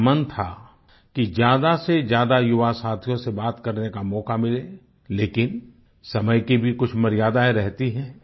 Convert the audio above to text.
मेरा मन था कि ज्यादासेज्यादा युवा साथियों से बात करने का मौका मिले लेकिन समय की भी कुछ मर्यादाएं रहती हैं